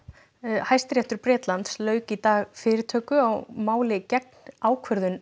Hæstiréttur Bretlands lauk í dag fyrirtöku á máli gegn ákvörðun